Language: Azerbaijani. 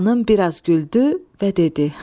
Xanım biraz güldü və dedi: